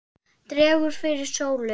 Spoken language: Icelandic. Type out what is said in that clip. Dregur fyrir sólu